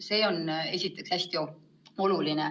See on hästi oluline.